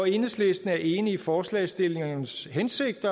enhedslisten er enig i forslagsstillernes hensigt